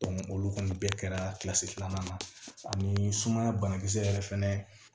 olu kɔni bɛɛ kɛra kilasi filanan na ani sumaya banakisɛ yɛrɛ fɛnɛ